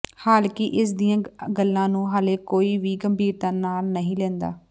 ਹਾਲਾਂਕਿ ਇਸ ਦੀਆਂ ਗੱਲਾਂ ਨੂੰ ਹਾਲੇ ਕੋਈ ਵੀ ਗੰਭੀਰਤਾ ਨਾਲ ਨਹੀਂ ਲੈਂਦਾ